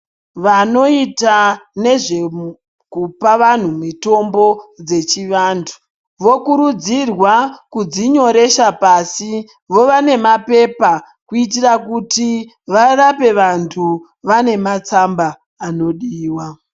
Vanoita nezvekupa vanhu mutombo dzechivanhu vokurudzirwa kudzinyoresa pashi vova nemapepa kuitira kuti varape vantu vane matsamba anodiwa.